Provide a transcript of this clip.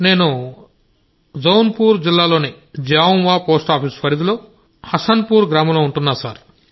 నేను జాన్ పూర్ జిల్లాలోని జామువా పోస్టాఫీస్ పరిధిలో ఉన్నహసన్పూర్ గ్రామంలో ఉంటాను సార్